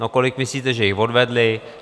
No, kolik myslíte, že jich odvedly?